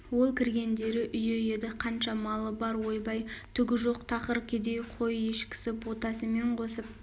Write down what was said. ол кіргендері үйі еді қанша малы бар ойбай түгі жоқ тақыр кедей қой-ешкісі ботасымен қосып